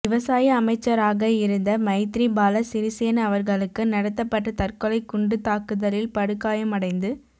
விவசாய அமைச்சராக இருந்த மைத்ரிபால சிறிசேன அவர்களுக்கு நடாத்தப்பட்ட தற்கொலை குண்டுத் தாக்குதலில் படுகாயமடைந்து